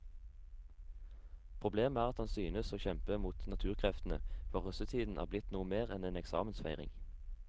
Problemet er at han synes å kjempe mot naturkreftene, for russetiden er blitt noe mer enn en eksamensfeiring.